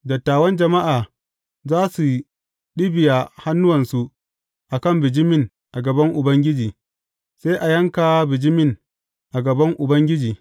Dattawan jama’a za su ɗibiya hannuwansu a kan bijimin a gaban Ubangiji, sai a yanka bijimin a gaban Ubangiji.